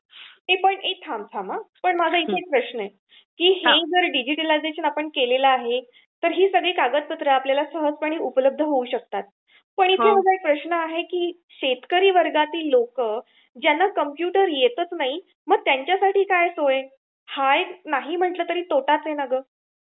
ए पण थांब थांब आ माझा इथे एक प्रश्न आहे हे डिजिटलायझेशन जर आपण केल आहे तरी हे कागदपत्र आपल्याला सहजपणे उपलब्ध होऊ शकतात पण इथे माझा प्रश्न आहे की शेतकरी वर्गातील लोक ज्यांना कंप्यूटर येतच नाही मग त्यांच्यासाठी काय सोय? हा नाही म्हंटल तरी त्यांच्यासाठी एक तोटाच आहे ना ग?